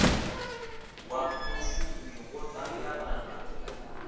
wa mushumi wo ṱangana na